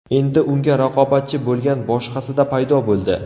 Endi unga raqobatchi bo‘lgan boshqasida paydo bo‘ldi.